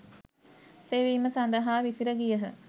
සෙවීම සඳහා විසිර ගියහ.